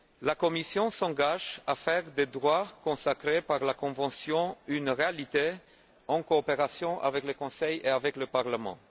La Commission s'engage à faire des droits consacrés par la convention une réalité, en coopération avec le Conseil et avec le Parlement.